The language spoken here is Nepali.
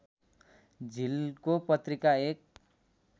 झिल्को पत्रिका एक